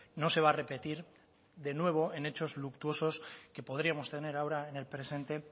no se va a repetir de nuevo en hechos luctuosos que podríamos tener ahora en el presente